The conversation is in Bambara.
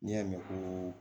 N'i y'a mɛn ko